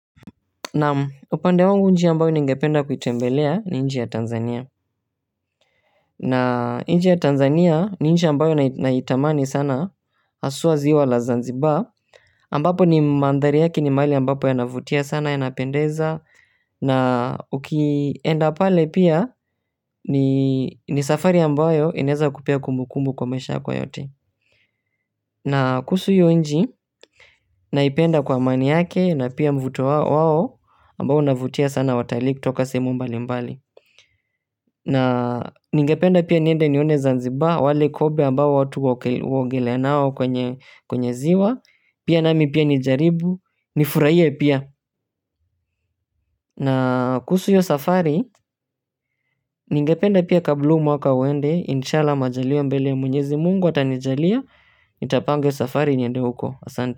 Naam upande wangu nchi ambayo ningependa kuitembelea ni nchi ya Tanzania. Na nchi ya Tanzania ni nchi ambayo naitamani sana haswa ziwa la zanziba. Ambapo ni mandhari yake ni mahali ambapo yanavutia sana yanapendeza. Na ukienda pale pia ni safari ambayo ineza kupea kumbu kumbu kwa maisha yako yote. Na kuhusu hio nchi naipenda kwa amani yake na pia mvuto wao ambao unavutia sana watalii kutoka sehemu mbali mbali. Na ningependa pia niende nione Zanzibar wale kobe ambao watu huogelea nao kwenye ziwa pia nami pia nijaribu nifurahi pia na kuhusu hio safari ningependa pia kabla huu mwaka uende Inshallah majaliwa mbele ya mwenyezi mungu atanijalia. Nitapanga hio safari niende huko asante.